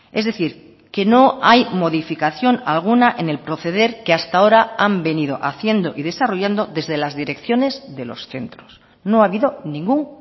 es decir que no hay modificación alguna en el proceder que hasta ahora han venido haciendo y desarrollando desde las direcciones de los centros no ha habido ningún